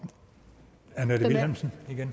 det